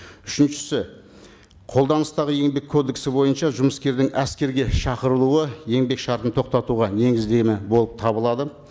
үшіншісі қолданыстағы еңбек кодексі бойынша жұмыскердің әскерге шақырылуы еңбек шартын тоқтатуға негіздеме болып табылады